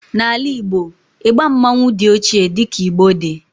n'ala Igbo, igba mmanwu di ochie di ka Igbo di